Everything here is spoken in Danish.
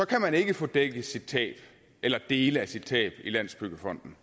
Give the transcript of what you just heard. kan man ikke få dækket sit tab eller dele af sit tab i landsbyggefonden